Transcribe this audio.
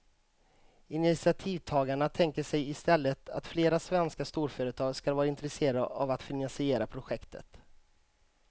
Initiativtagarna tänker sig istället att flera svenska storföretag skall vara intresserade av att finansiera projektet.